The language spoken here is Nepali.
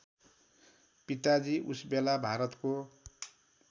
पिताजी उसबेला भारतको